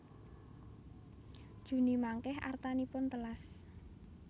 Juni mangke artanipun telas